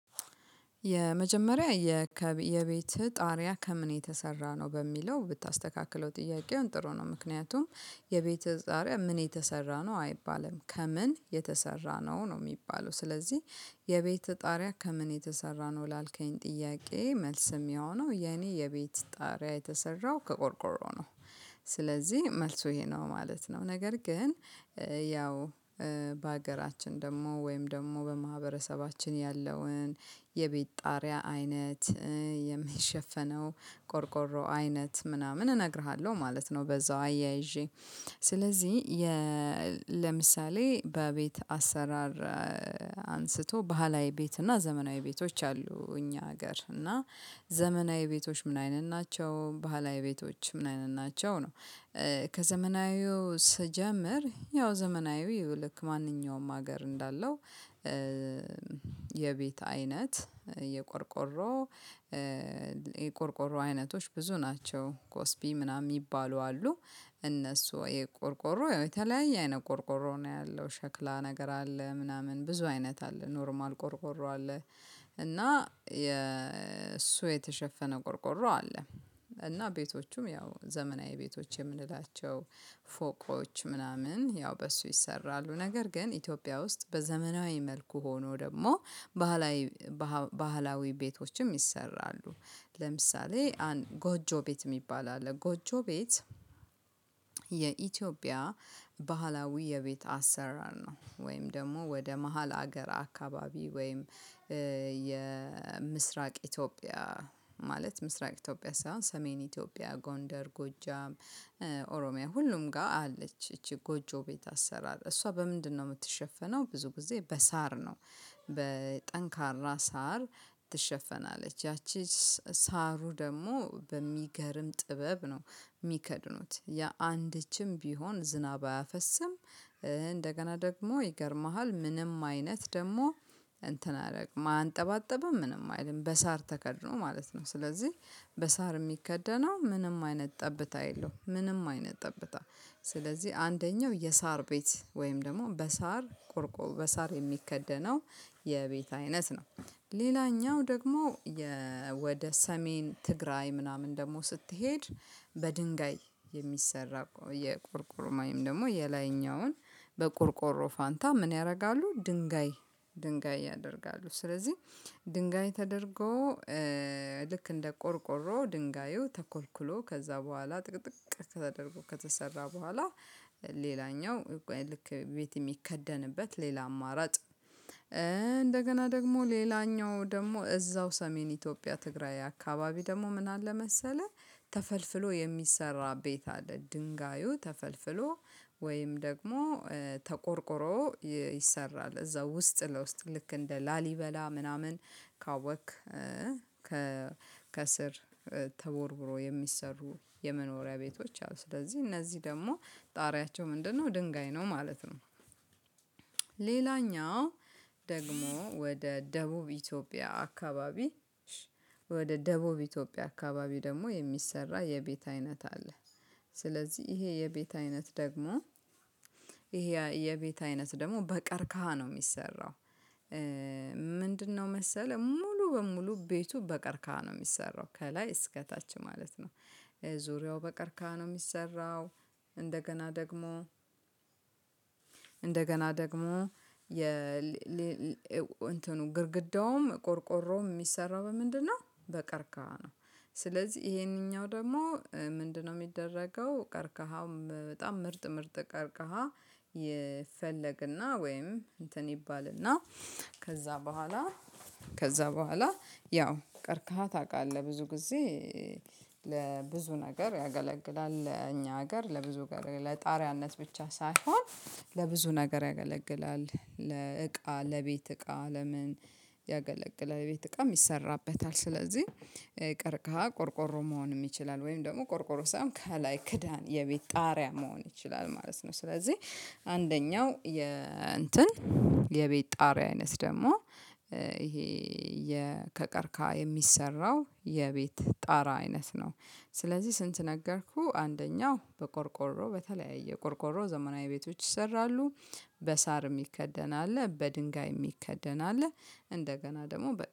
የመጀመሪያ የከብ የቤትህ ጣሪያ ከምን የተሰራ ነው በሚለው ብታስተካክለው ጥያቄውን ጥሩ ነው ምክንያቱም የቤተጣሪያ ምን የተሰራ ነው አይባልም ከምን የተሰራ ነው ነው የሚባለው ስለዚህ የቤትህ ጣሪያ ከምን የተሰራ ነው ላልከኝ ጥያቄ መልስ የሚሆነው የኔ የቤት ጣሪያ የተሰራው ከቆርቆሮ ነው። ስለዚህ መልሱ ይሄ ነው ማለት ነው። ነገር ግን ያው በሀገራችን ደግሞ ወይም ደግሞ በማህበረሰባችን ያለውን የቤት ጣሪያ አይነት የሚሸፈነው ቆርቆሮ አይነት ምናምን እነግርሃለሁ ማለት ነው። በዛው አያይዤ ስለዚህ ለምሳሌ በቤት አሰራር አንስቶ ባህላዊ ቤት እና ዘመናዊ ቤቶች አሉ። እኛ ሀገር እና ዘመናዊ ቤቶች ምን አይነት ናቸው? ባህላዊ ቤቶች ምን አይነት ናቸው? ነው ከዘመናዊው ስጀምር ያው ዘመናዊው ልክ ማንኛውም ሀገር እንዳለው የቤት አይነት የቆርቆሮ የቆርቆሮ አይነቶች ብዙ ናቸው ኮስፒ ምናምን የሚባሉ አሉ። እነሱ የቆርቆሮ የተለያየ አይነ ቆርቆሮ ነው ያለው ሸክላ ነገር አለ ምናምን ብዙ አይነት አለ ኖርማል ቆርቆሮ አለ። እና የእሱ የተሸፈነ ቆርቆሮ አለ። እና ቤቶቹም ያው ዘመናዊ ቤቶች የምንላቸው ፎቆች ምናምን ያው በሱ ይሰራሉ። ነገር ግን ኢትዮጵያ ውስጥ በዘመናዊ መልኩ ሆኖ ደግሞ ባህላዊ ባህላዊ ቤቶችም ይሰራሉ። ለምሳሌ ጎጆ ቤት የሚባል አለ ጎጆ ቤት የኢትዮጵያ ባህላዊ የቤት አሰራር ነው። ወይም ደግሞ ወደ መሃል ሀገር አካባቢ ወይም የምስራቅ ኢትዮጵያ ማለት ምስራቅ ኢትዮጵያ ሳይሆን ሰሜን ኢትዮጵያ ጎንደር ጎጃም ኦሮሚያ ሁሉም ጋር አለች እቺ ጎጆ ቤት አሰራር እሷ በምንድነው የምትሸፈነው ብዙ ጊዜ በሳር ነው። በጠንካራ ሳር ትሸፈናለች ያቺ ሳሩ ደግሞ በሚገርም ጥበብ ነው የሚከድኑት ያ የአንደችም ቢሆን ዝናብ አያፈስም። እንደገና ደግሞ ይገርምሃል ምንም አይነት ደግሞ እንትን አያረግም ማየንጠባጠብም ምንም አይልም በሳር ተከድኖ ማለት ነው። ስለዚህ በሳር የሚከደነው ምንም አይነት ጠብታ የለውም። ምንም አይነት ጠብታ ስለዚህ አንደኛው የሳር ቤት ወይም ደግሞ በሳር ቆርቆር በሳር የሚከደነው የቤት አይነት ነው። ሌላኛው ደግሞ ወደ ሰሜን ትግራይ ምናምን ደግሞ ስትሄድ በድንጋይ የሚሰራ የቆርቆሮ ወይም ደግሞ የላይኛውን በቆርቆሮ ፋንታ ምን ያደርጋሉ ድንጋይ ድንጋይ ያደርጋሉ። ስለዚህ ድንጋይ ተደርጎ ልክ እንደ ቆርቆሮ ድንጋዩ ተኮልኩሎ ከዛ በኋላ ጥቅጥቅ ከተደረጎ ከተሰራ በኋላ። ሌላኛው ልክ ቤት የሚከደንበት ሌላ አማራጭ እንደገና ደግሞ ሌላኛው ደግሞ እዛው ሰሜን ኢትዮጵያ ትግራይ አካባቢ ደግሞ ምን አለ መሰለህ ተፈልፍሎ የሚሰራ ቤት አለ። ድንጋዩ ተፈልፍሎ ወይም ደግሞ ተቆርቁሮ ይሰራል። እዛው ውስጥ ለውስጥ ልክ እንደ ላሊበላ ምናምን ካወቅክ ከስር ተቦርቡሮ የሚሰሩ የመኖሪያ ቤቶች አሉ። ስለዚህ እነዚህ ደግሞ ጣሪያቸው ምንድነው ድንጋይ ነው ማለት ነው። ሌላኛው ደግሞ ወደ ደቡብ ኢትዮጵያ አካባቢ ወደ ደቡብ ኢትዮጵያ አካባቢ ደግሞ የሚሰራ የቤት አይነት አለ። ስለዚህ ይሄ የቤት አይነት ደግሞ ይሄ የቤት አይነት ደግሞ በቀርካሃ ነው የሚሰራው። ምንድነው መሰለህ ሙሉ በሙሉ ቤቱ በቀርቀሀ ነው የሚሰራው ከላይ እስከታች ማለት ነው። ዙሪያው በቀርቀሀ ነው የሚሰራው። እንደገና ደግሞ እንደገና ደግሞ የ እንትኑ ግድግዳውም ቆርቆሮም የሚሰራው በምንድነው በቀርቀሃ ነው። ስለዚህ ይሄንኛው ደግሞ ምንድነው የሚደረገው ቀርቀሃውም በጣም ምርጥ ምርጥ ቀርቀሃ ይፈለግና ወይም እንትን ይባልና ከዛ በኋላ ከዛ በኋላ ያው ቀርካሃ ታውቃለህ። ብዙ ጊዜ ለብዙ ነገር ያገለግላል እኛ ሀገር ለብዙ ለጣሪያነት ብቻ ሳይሆን ለብዙ ነገር ያገለግላል። ለእቃ ለቤት እቃ ለምን ያገለግላል የቤት እቃም ይሰራበታል። ስለዚህ ቀርቀሃ ቆርቆሮ መሆንም ይችላል ወይም ደግሞ ቆርቆሮ ሳይሆን ከላይ ክዳን የቤት ጣሪያ መሆን ይችላል ማለት ነው። ስለዚህ አንደኛው የ እንትን የቤት ጣሪያ አይነት ደግሞ ይሄ የከቀርቀሀ የሚሰራው የቤት ጣራ አይነት ነው። ስለዚህ ስንት ነገርኩህ አንደኛው በቆርቆሮ በተለያየ ቆርቆሮ ዘመናዊ ቤቶች ይሰራሉ። በሳር የሚከደን አለ በድንጋይ የሚከደን አለ። እንደገና ደግሞ በ